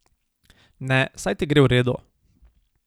Ne, saj ti gre v redu.